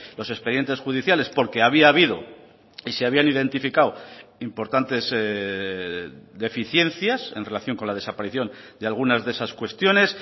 los expedientes judiciales porque había habido y se habían identificado importantes deficiencias en relación con la desaparición de algunas de esas cuestiones